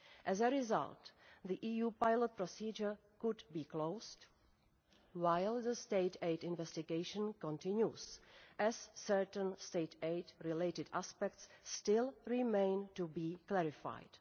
As a result, the EU Pilot procedure could be closed, while the state aid investigation continues, as certain state aid related aspects still remain to be clarified.